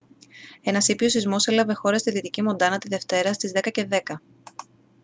ένας ήπιος σεισμός έλαβε χώρα στη δυτική μοντάνα τη δευτέρα στις 22:10